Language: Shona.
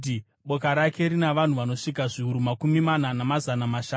Boka rake rina vanhu vanosvika zviuru makumi mana, namazana mashanu.